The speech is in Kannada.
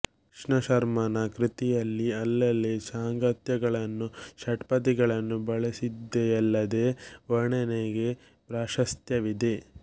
ಕೃಷ್ಣಶರ್ಮನ ಕೃತಿಯಲ್ಲಿ ಅಲ್ಲಲ್ಲಿ ಸಾಂಗತ್ಯಗಳನ್ನೂ ಷಟ್ಪದಿಗಳನ್ನೂ ಬಳಸಿದೆಯಲ್ಲದೆ ವರ್ಣನೆಗೆ ಪ್ರಾಶಸ್ತ್ಯವಿದೆ